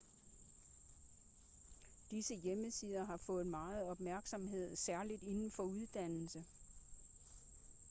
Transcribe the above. disse hjemmesider har fået meget opmærksomhed særligt inden for uddannelse